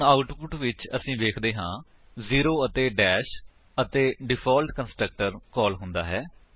ਹੁਣ ਆਉਟਪੁਟ ਵਿੱਚ ਅਸੀ ਵੇਖਦੇ ਹਾਂ ਜ਼ੇਰੋ ਅਤੇ ਦਸ਼ ਅਤੇ ਡਿਫਾਲਟ ਕੰਸਟਰਕਟਰ ਕਾਲ ਹੁੰਦਾ ਹੈ